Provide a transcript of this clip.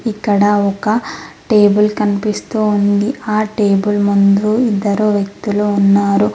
ఇక్కడ ఒక టేబుల్ కనిపిస్తూ ఉంది ఆ టేబుల్ ముందు ఇద్దరు వ్యక్తులు ఉన్నారు.